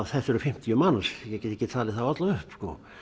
þetta eru fimmtíu manns ég get ekki talið þá alla upp sko